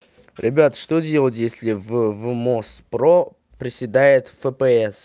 ребят что делать если в мос про приседает фпс